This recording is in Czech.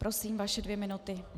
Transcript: Prosím, vaše dvě minuty.